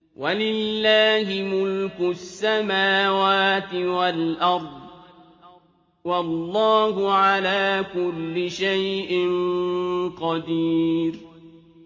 وَلِلَّهِ مُلْكُ السَّمَاوَاتِ وَالْأَرْضِ ۗ وَاللَّهُ عَلَىٰ كُلِّ شَيْءٍ قَدِيرٌ